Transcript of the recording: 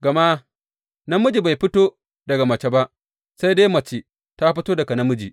Gama namiji bai fito daga mace ba, sai dai mace ce ta fito daga namiji.